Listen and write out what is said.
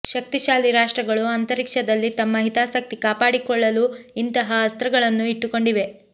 ಶಕ್ತಿಶಾಲಿ ರಾಷ್ಟ್ರಗಳು ಅಂತರಿಕ್ಷದಲ್ಲಿ ತಮ್ಮ ಹಿತಾಸಕ್ತಿ ಕಾಪಾಡಿಕೊಳ್ಳಲು ಇಂತಹ ಅಸ್ತ್ರಗಳನ್ನು ಇಟ್ಟುಕೊಂಡಿವೆ